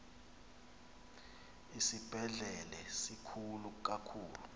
isibhedlele sikhulu kakhulu